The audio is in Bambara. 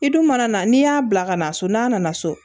I dun mana na n'i y'a bila ka na so n'a nana so